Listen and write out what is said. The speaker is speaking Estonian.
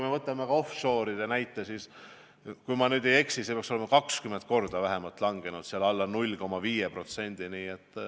Võtame offshore'ide näite, kui ma ei eksi, siis see portfell peaks olema vähemalt 20 korda vähenenud, alla 0,5%.